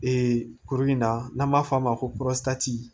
Ee kuru in na n'an b'a f'a ma ko